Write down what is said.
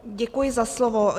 Děkuji za slovo.